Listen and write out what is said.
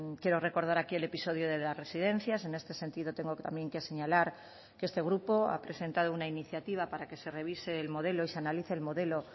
quiero recordar aquí el episodio de las residencias en este sentido tengo también que señalar que este grupo ha presentado una iniciativa para que se revise el modelo y se analice el modelo